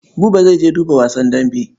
Buba zai je duba wasan dambe.